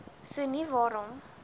so nie waarom